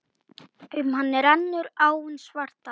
Um hann rennur áin Svartá.